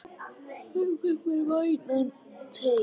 Fékk mér vænan teyg.